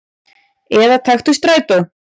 Eða taktu strætó.